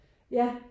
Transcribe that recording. Ja